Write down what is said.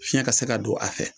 Fiɲɛ ka se ka don a fɛ